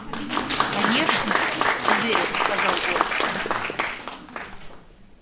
конечно уверенно сказал он